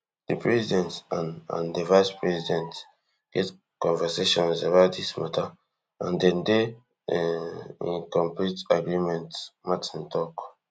di president and and di vicepresident get conversations about dis matter and dem dey um in complete agreement martin tok